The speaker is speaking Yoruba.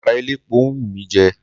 Àkàrà elépo ń wù mí jẹ.